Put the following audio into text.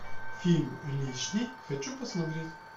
фильм лишний хочу посмотреть